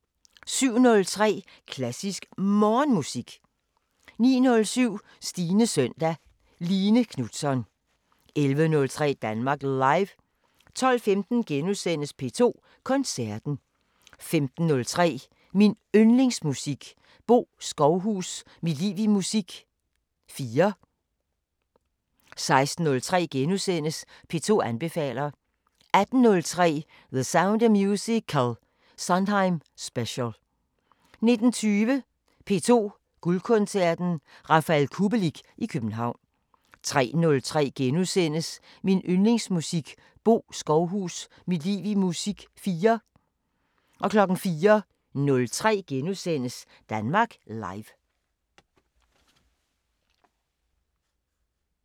07:03: Klassisk Morgenmusik 09:07: Stines søndag: Line Knutzon 11:03: Danmark Live 12:15: P2 Koncerten * 15:03: Min Yndlingsmusik: Bo Skovhus – mit liv i musik 4 16:03: P2 anbefaler * 18:03: The Sound of Musical: Sondheim Special 19:20: P2 Guldkoncerten: Rafael Kubelik i København 03:03: Min Yndlingsmusik: Bo Skovhus – mit liv i musik 4 * 04:03: Danmark Live *